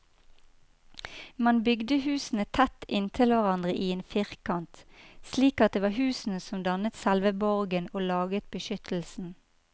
Man bygde husene tett inntil hverandre i en firkant, slik at det var husene som dannet selve borgen og laget beskyttelsen.